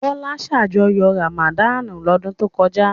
Bọ́lá ṣàjọyọ̀ Ramadan lọ́dún tó kọjá?